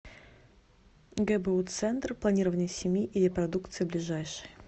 гбу центр планирования семьи и репродукции ближайший